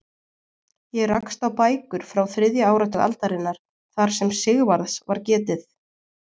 Ég rakst á bækur frá þriðja áratug aldarinnar þar sem Sigvarðs var getið.